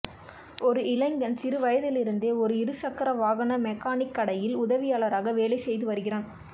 ஒரு இளைஞன் சிறு வயதிலிருந்தே ஒரு இரு சக்கர வாகன மெக்கானிக் கடையில் உதவியாளராக வேலை செய்து வருகிறான்